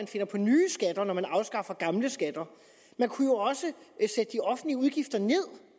finder på nye skatter når man afskaffer gamle skatter man kunne jo også sætte de offentlige udgifter ned